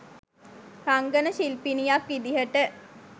රංගන ශිල්පිනියක් විදිහට